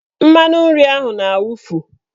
Mmanụnri ahụ na-awufu.